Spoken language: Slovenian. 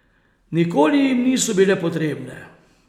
Nikoli jim niso bile potrebne.